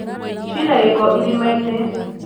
Cina gĩko irima-inĩ.